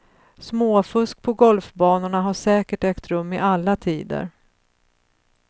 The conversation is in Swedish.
Småfusk på golfbanorna har säkert ägt rum i alla tider.